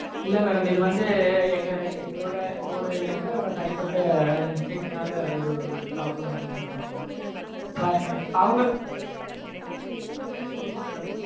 இல்ல madam இது வந்து எங்க எங்களோட employee யோட தனிப்பட்ட mistake னால ஒரு problem ஆயிருக்கு madam sorry madam அவங்க okay madam.